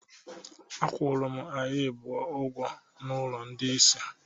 Agwụrụ m anyị abụọ ụgwọ na ụlọ ndị isi